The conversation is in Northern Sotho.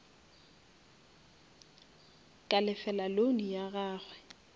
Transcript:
ka lefela loan ya gagwe